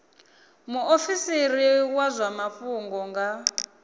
muofisiri wa zwa mafhungo nga